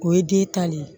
O ye den ta le ye